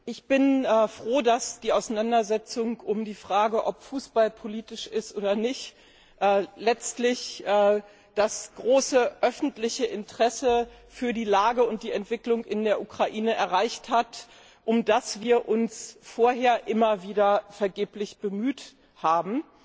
Ich bin froh, dass die Auseinandersetzung um die Frage, ob Fußball politisch ist oder nicht, letztlich das große öffentliche Interesse für die Lage und die Entwicklung in der Ukraine erreicht hat, um das wir uns vorher immer wieder vergeblich bemüht haben.